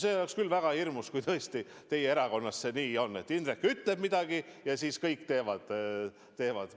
See oleks küll väga hirmus, kui teie erakonnas see nii on, et Indrek ütleb midagi, ja siis kõik teevad, nagu vaja.